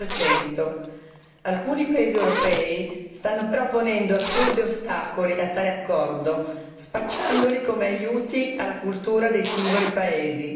28. Alcuni paesi europei stanno ponendo assurdi ostacoli a tale accordo spacciandoli come aiuti alla cultura dei singoli paesi.